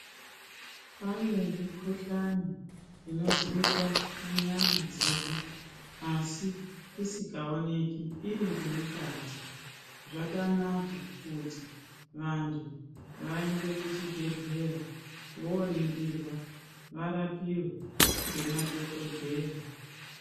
Pane mikuhlani inozwikwa munyama dzedu asi isikaonek iri ngemukati zvakanaka kuti vanthu vaende kuchibhedhleya vooningirwa varapiwe ngemadhokodheya.